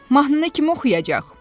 Mahnını kim oxuyacaq?